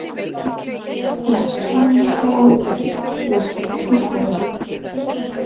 Ég hef svo miklar áhyggjur, næstum hvíslaði hún.